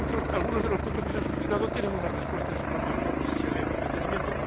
Algunos de los puntos que se han planteado tienen una respuesta en el propio informe si se lee con detenimiento.